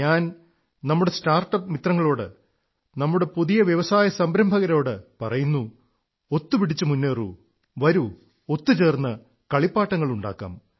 ഞാൻ നമ്മുടെ സ്റ്റാർട്ടപ് മിത്രങ്ങളോട് നമ്മുടെ പുതിയ വ്യവസായസംരംഭകരോട് പറയുന്നു ഒത്തുപിടിച്ചു മുന്നേറൂ വരൂ ഒത്തുചേർന്ന് കളിപ്പാട്ടങ്ങളുണ്ടാക്കാം